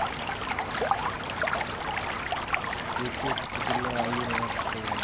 еркек түгілі әйел ғашық болған